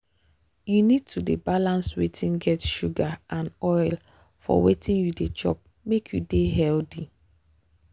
you need to dey balance wetin get sugar and oil for wetin you dey chop make you dey healthy.